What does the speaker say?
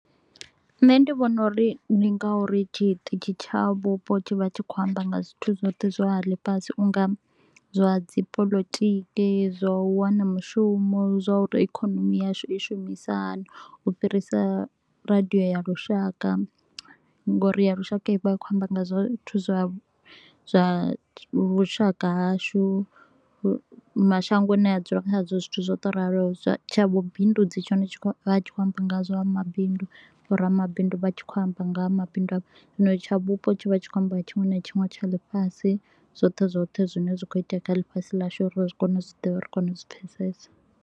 Nṋe ndi vhona uri ndi nga uri tshiṱitshi tsha vhupo tshi vha tshi khou amba nga zwithu zwoṱhe zwa ḽifhasi u nga zwa dzi polotiki, zwa u wana mushumo, zwa uri ikonomi yashu i shumisa hani, u fhirisa radio ya lushaka. Nga uri ya lushaka i vha i khou amba nga zwithu zwa zwa vhushaka hashu mashangoni a ne ra dzula khao, zwithu zwo to u raloho. Tsha vhu bindudzi tshone vha tshi khou amba nga zwa mabindu, vho ramabindu vha tshi kho u amba nga ha mabindu avho. Zwino tsha vhupo tshi vha tshi kho u amba nga tshiṅwe na tshiṅwe tsha ḽifhasi, zwoṱhe zwoṱhe zwi ne zwa kho u itea kha ḽifhasi ḽashu uri ri kone u zwi ḓivha uri ri kone u zwi pfesesa.